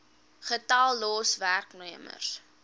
getal los werknemers